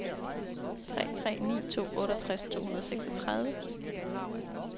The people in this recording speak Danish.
tre tre ni to otteogtres to hundrede og seksogtredive